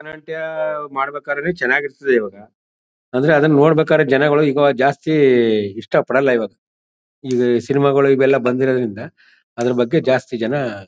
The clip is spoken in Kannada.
ಭರತನಾಟ್ಯ ಮಾಡಬೇಕೆಂದ್ರೆ ಚೆನಾಗಿರ್ತದೆ ಇವಾಗ. ಆದ್ರೆ ಅದನ್ನ ನೋಡಬೇಕೆಂದ್ರೆ ಜನಗಳ ಜಾಸ್ತಿ ಈಗ ಇಷ್ಟಪಡಲ್ಲ ಇವತ್ ಇದ್ ಸಿನಿಮಾ ಗಲ್ಲು ಬಂದಿರೋದರಿಂದ ಅದ್ರ ಬಗ್ಗೆ ಜಾಸ್ತಿ ಜನ--